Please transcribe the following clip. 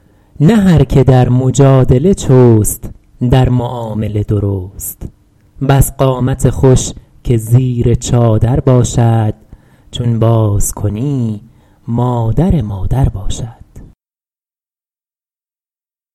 نه هر که در مجادله چست در معامله درست بس قامت خوش که زیر چادر باشد چون باز کنی مادر مادر باشد